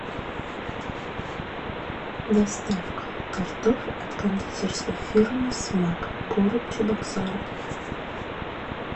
доставка тортов от кондитерской фирмы смак город чебоксары